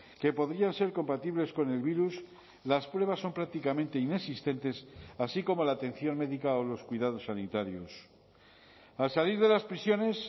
que podrían ser compatibles con el virus las pruebas son prácticamente inexistentes así como la atención médica o los cuidados sanitarios al salir de las prisiones